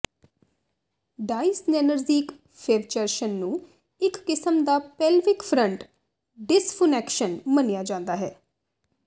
ਡਾਇਸਨੇਨਰਜੀਕ ਫੇਵਚਰਸ਼ਨ ਨੂੰ ਇਕ ਕਿਸਮ ਦਾ ਪੇਲਵਿਕ ਫ਼ਰੰਟ ਡਿਸਫੁਨੈਕਸ਼ਨ ਮੰਨਿਆ ਜਾਂਦਾ ਹੈ